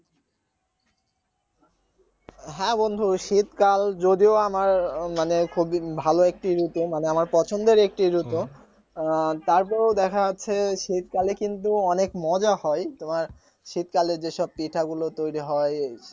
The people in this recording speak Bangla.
হ্যাঁ বন্ধু শীতকাল যদিও আমার মানে খুবই ভালো একটি ঋতু মানে আমার পছন্দের একটি ঋতু আহ তারপরেও দেখা যাচ্ছে শীতকালে কিন্তু অনেক মজা হয় তোমার শীতকালে সেসব পিঠাগুলো তৈরি হয়